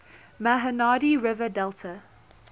mahanadi river delta